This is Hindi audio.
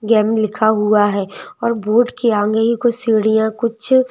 गेम गए लिखा हुआ हैऔर बोर्ड के आगे ही कुछ सीढ़ियां कुछ--